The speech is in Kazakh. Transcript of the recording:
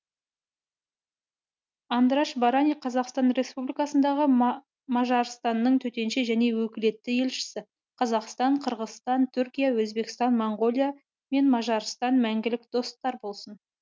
андраш барани қазақстан республикасындағы мажарстанның төтенше және өкілетті елшісі қазақстан қырғызстан түркия өзбекстан моңғолия мен мажарстан мәңгілік достар болсын